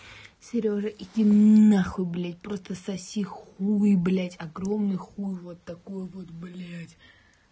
серёжа иди нахуй блядь просто соси хуй блядь огромный хуй вот такой вот блядь